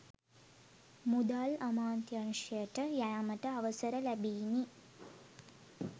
මුදල් අමාත්‍යංශයට යෑමට අවසර ලැබිණි